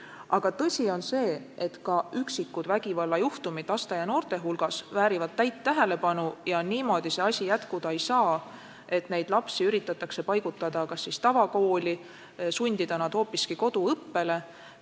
Aga tõsi on see, et ka üksikud vägivallajuhtumid laste ja noorte hulgas väärivad täit tähelepanu ja niimoodi see asi jätkuda ei saa, et neid lapsi üritatakse kas paigutada tavakooli või sundida nad hoopiski koduõppele.